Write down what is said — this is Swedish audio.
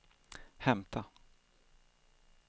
hämta